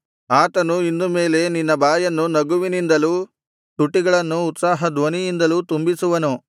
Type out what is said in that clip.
ಆತನು ಇನ್ನು ಮೇಲೆ ನಿನ್ನ ಬಾಯನ್ನು ನಗುವಿನಿಂದಲೂ ತುಟಿಗಳನ್ನು ಉತ್ಸಾಹ ಧ್ವನಿಯಿಂದಲೂ ತುಂಬಿಸುವನು